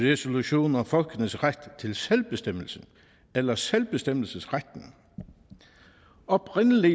resolution om folkenes ret til selvbestemmelse eller selvbestemmelsesretten oprindelig